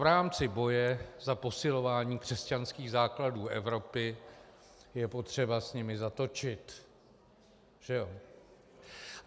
V rámci boje za posilování křesťanských základů Evropy je potřeba s nimi zatočit, že jo.